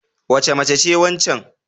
Wace mace ce waccan?